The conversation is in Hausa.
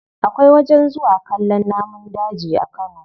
Akwai wajen zuwa kallon namun daji a kano.